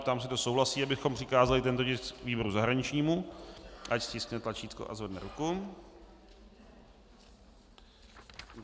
Ptám se, kdo souhlasí, abychom přikázali tento tisk výboru zahraničnímu, ať stiskne tlačítko a zvedne ruku.